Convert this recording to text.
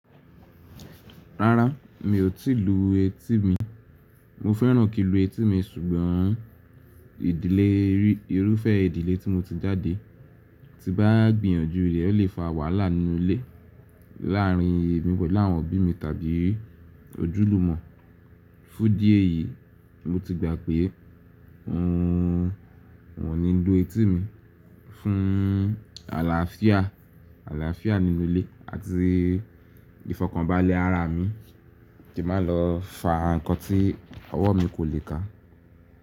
Rárá, mi ò tí ì lu etí mi. Mo fẹ́ràn kí n lu etí mi ṣùgbọ́n ìdílé rí, irúfẹ́ ìdílé tí mo ti jáde ti n bá gbìyànjú rẹ̀ ó lè fa wàhálà nínú ilé láàárín èmi pẹ̀lú àwọn òbí mi tàbí ojúlùmọ̀. Fún idí eyìí, mo ti gbà pé n ò ní lu etí mi fún àlàáfíà, àlàáfíà nínú ilé àti ìfọ̀kànbalẹ̀ ara mi kí má lọ fa nǹkan tí ọwọ́ mi kò lè ká.